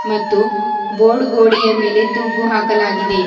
ಮತ್ತು ಬೋರ್ಡ್ ಗೋಡೆಯ ಮೇಲೆ ತೂಗು ಹಾಕಲಾಗಿದೆ.